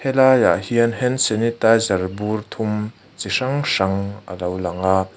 helaiah hian hand sanitizer bur thum chi hrang hrang a lo lang a.